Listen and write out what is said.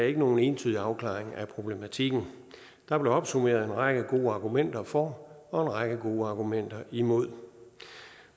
ikke nogen entydig afklaring af problematikken der blev opsummeret en række gode argumenter for og en række gode argumenter imod